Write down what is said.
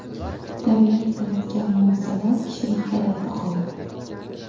Tabiat yaratgan mo‘jizalar kishini hayratda qoldiradi.